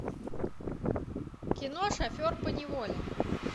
кино шофер поневоле